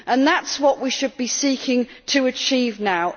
That is what we should be seeking to achieve now.